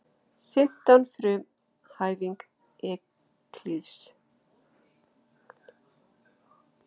Fimmta frumhæfing Evklíðs.